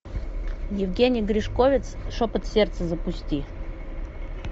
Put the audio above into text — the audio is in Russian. евгений гришковец шепот сердца запусти